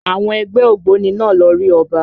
Àwọn ẹgbẹ́ ògbóni náà lọ rí Ọba